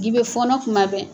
'i bɛ fɔɔnɔ tuma bɛɛ.